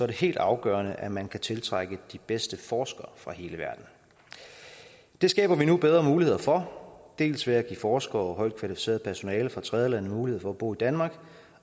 det helt afgørende at man kan tiltrække de bedste forskere fra hele verden det skaber vi nu bedre muligheder for dels ved at give forskere og højt kvalificeret personale fra tredjelande mulighed for at bo i danmark